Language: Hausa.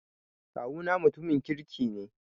Kawuna mutumin kirki ne.